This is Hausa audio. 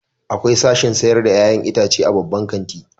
Akwai sashin sayar da 'ya'yan itace a babban kanti.